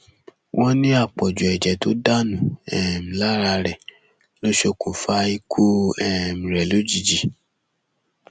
wọn ní àpọjù ẹjẹ tó dànù um lára rẹ ló ṣokùnfà ikú um rẹ lójijì